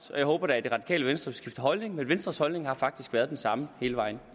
og jeg håber da at det radikale venstre skifter holdning men venstres holdning har faktisk været den samme hele vejen